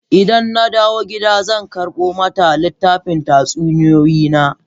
Idan na dawo gida zan karbo mata littafan tatsuniyoyi na.